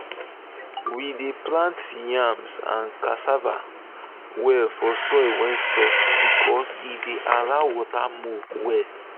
we dey plant yam and cassava well for soil wey soft because e dey allow water move well.